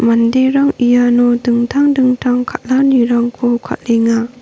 manderang iano dingtang dingtang kal·anirangko kal·enga.